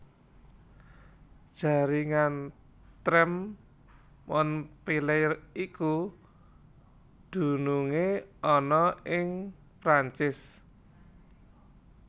Jaringan trèm Montpellier iku dunungé ana ing Prancis